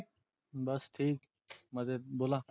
बस ठीक मजेत बोला.